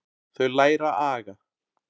Þau læra aga.